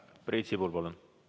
Priit Sibul, palun!